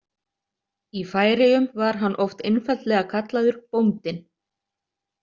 Í Færeyjum var hann oft einfaldlega kallaður „Bóndinn“.